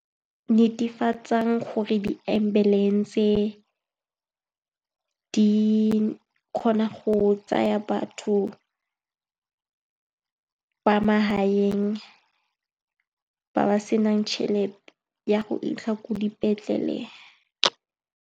Netefatsang gore di-ambulance-e di kgona go tsaya batho ba magaeng ba ba senang tšhelete ya go fitlha ko dipetlele.